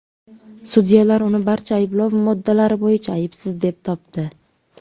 Sudyalar uni barcha ayblov moddalari bo‘yicha aybsiz deb topdi.